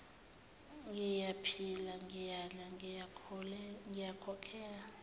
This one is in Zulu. ngiyaphila ngiyadla ngikhokhela